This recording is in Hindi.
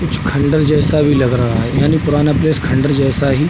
कुछ खंडर जैसा भी लग रहा है यानी पुराना प्लेस खंडर जैसा ही --